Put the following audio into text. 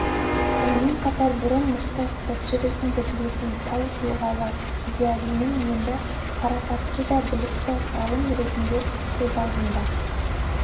сонымен қатар бұрын мықты спортшы ретінде білетін тау тұлғалы зиядинім енді парасатты да білікті ғалым ретінде көз алдымда